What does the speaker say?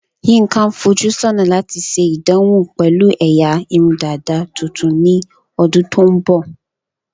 Yinka ń fojú sọ́nà láti ṣe ìdánwò pẹ̀lú ẹ̀yà irun dàda tuntun ní ọdún tó ń bọ̀.